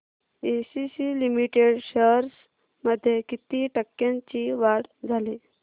ACC limited shares मध्ये किती टक्क्यांची वाढ झाली